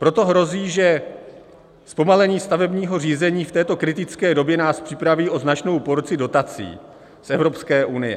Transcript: Proto hrozí, že zpomalení stavebního řízení v této kritické době nás připraví o značnou porci dotací z Evropské unie.